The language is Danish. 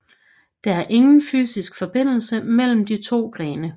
Der er ingen fysisk forbindelse mellem de to grene